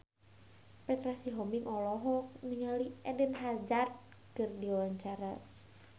Petra Sihombing olohok ningali Eden Hazard keur diwawancara